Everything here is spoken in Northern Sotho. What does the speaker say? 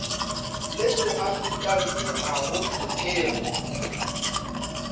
le seafrikanse ga go hlokege